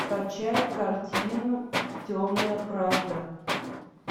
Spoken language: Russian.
скачай картину темная правда